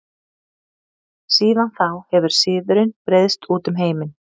Síðan þá hefur siðurinn breiðst út um heiminn.